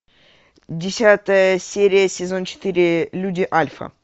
десятая серия сезон четыре люди альфа